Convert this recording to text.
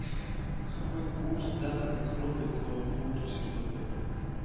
какой курс датской кроны к фунту сегодня